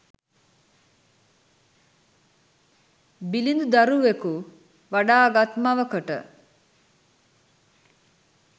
බිළිඳු දරුවකු වඩා ගත් මවකට,